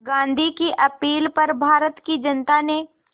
गांधी की अपील पर भारत की जनता ने